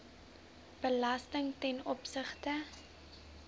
belasting ten opsigte